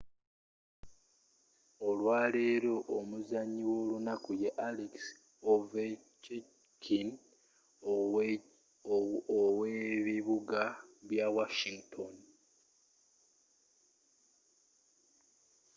olwaleero omuzanyi w'olunaku ye alex ovechkin ow'ebibuga bya washington